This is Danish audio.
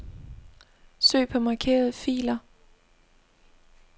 Søg på markerede filer.